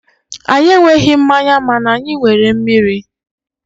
anyị enweghị mmanya mana anyị nwere mmiri.